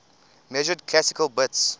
measured classical bits